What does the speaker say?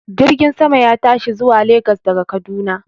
Jirgin sama ya tashi zuwa Lagas daga Kaduna